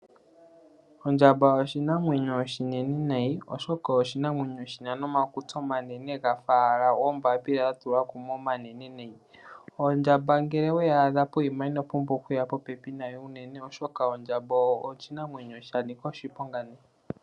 Ondjamba oshinamwenyo oshinene nayi oshoka oshinamwenyo shina nomakutsi omanene ga fa owala oombapila dha tulwa kumwe omanene nayi . Ondjamba ngele owe yi adha pokuma inopumbwa oku ya popepi nayo unene oshoka ondjamba oshinamwenyo sha nika oshiponga nayi.